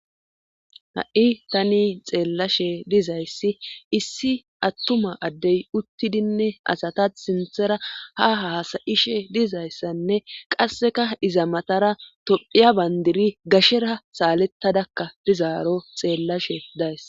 ha7i tani xeellashe dizayssi issi attuma addey uttidinne asata sinthara ha hasayishe dizayssanne qasseka iza matara tophiya bayndiri gashera saalettadakka dizaaro xeellashe days